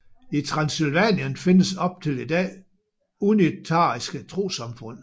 I Transsylvanien findes op til i dag unitariske trossamfund